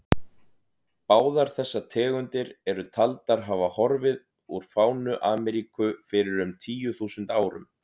Báðar þessar tegundir eru taldar hafa horfið úr fánu Ameríku fyrir um tíu þúsund árum.